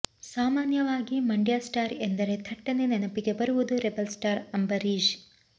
ಸಾಮಾನ್ಯವಾಗಿ ಮಂಡ್ಯ ಸ್ಟಾರ್ ಎಂದರೆ ಥಟ್ಟನೆ ನೆನಪಿಗೆ ಬರುವುದು ರೆಬೆಲ್ ಸ್ಟಾರ್ ಅಂಬರೀಶ್